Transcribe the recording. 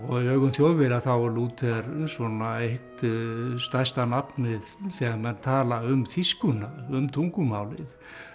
í augum Þjóðverja er Lúther svona eitt stærsta nafnið þegar menn tala um þýskuna um tungumálið